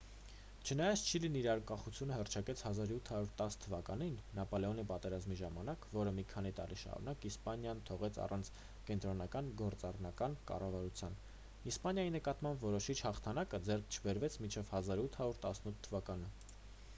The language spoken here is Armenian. չնայած չիլին իր անկախությունը հռչակեց 1810 թվականին նապոլեոնի պատերազմների ժամանակ որը մի քանի տարի շարունակ իսպանիան թողեց առանց կենտրոնական գործառնական կառավարության իսպանիայի նկատմամբ որոշիչ հաղթանակը ձեռք չբերվեց մինչև 1818 թվականը։